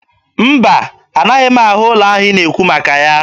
Mba, anaghị m ahụ ụlọ ahụ ị na-ekwu maka ya